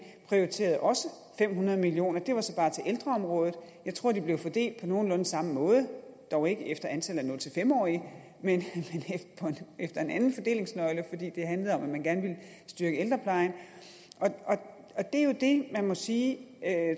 prioriterede også fem hundrede million kroner det var så bare til ældreområdet jeg tror de blev fordelt på nogenlunde samme måde dog ikke efter antallet af nul fem årige men efter en anden fordelingsnøgle fordi det handlede om at man gerne ville styrke ældreplejen det er jo det man må sige